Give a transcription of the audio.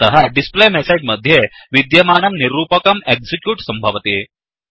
अतः displayMessageडिस्प्ले मेसेज् मध्ये विध्यमानं निरूपकं एक्सिक्य़्यूट् सम्भवति